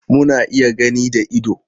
Muna iya gani da ido.